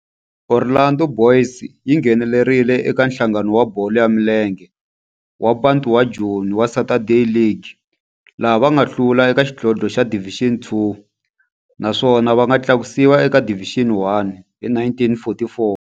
Orlando Boys yi nghenelerile eka Nhlangano wa Bolo ya Milenge wa Bantu wa Joni wa Saturday League, laha va nga hlula eka xidlodlo xa Division Two naswona va nga tlakusiwa eka Division One hi 1944.